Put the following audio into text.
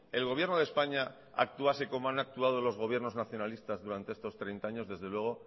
el gobierno de españa actuase como han actuado los gobiernos nacionalistas durante estos treinta años desde luego